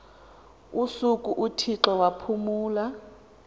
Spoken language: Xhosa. usuku uthixo waphumla